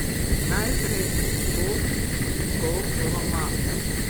Najprej, od kod naslov romana?